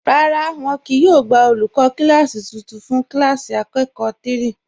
Rárá, wọn kíì yóò gbà olúkọ̀ kilasí tuntun fún kilasí akọkọ̀ 3.